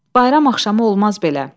Bayram axşamı olmaz belə.